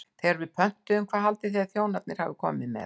Þegar við pöntuðum, hvað haldið þið að þjónarnir hafi komið með?